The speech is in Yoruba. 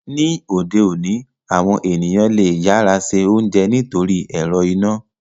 Ni ode oni, awọn eniyan le yara se ounjẹ nitori ẹrọ ina.